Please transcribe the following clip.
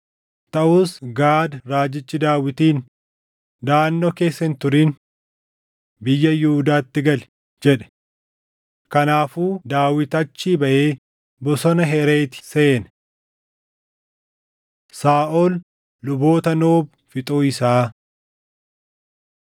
Taʼus Gaad raajichi Daawitiin, “Daʼannoo keessa hin turin. Biyya Yihuudaatti gali” jedhe. Kanaafuu Daawit achii baʼee bosona Hereeti seene. Saaʼol Luboota Noob Fixuu Isaa